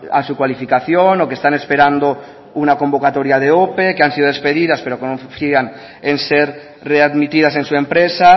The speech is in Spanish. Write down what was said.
a su cualificación o que están esperando una convocatoria de ope que han sido despedidas pero que no confían en ser readmitidas en su empresa